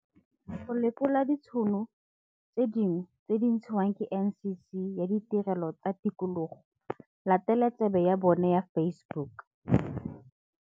Go lekola ditšhono tse dingwe tse di ntshiwang ke NCC ya Ditirelo tsa Tikologo, latela tsebe ya bona ya Facebook.